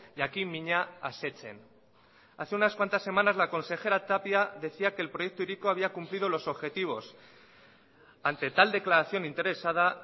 jakinmina asetzen hace unas cuantas semanas la consejera tapia decía que el proyecto hiriko había cumplido los objetivos ante tal declaración interesada